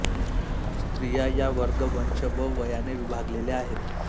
स्त्रिया या वर्ग वंश व वयाने विभागलेल्या आहेत